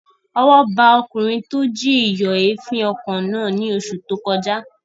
Ọwọ́ ba ọkùnrin tó jí ìyọ̀èéfín ọkọ̀ náà ní oṣù tó kọjá